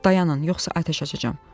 dayanın, yoxsa atəş açacağam.